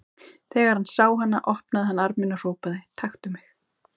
Þegar hann sá hana opnaði hann arminn og hrópaði: Taktu mig!